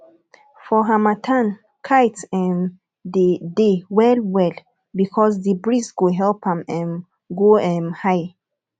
for harmattan kite um dey well well because the breeze go help am um go um high